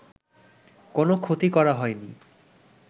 কোন ক্ষতি করা হয়নি